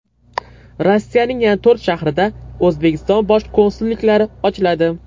Rossiyaning yana to‘rt shahrida O‘zbekiston bosh konsulliklari ochiladi.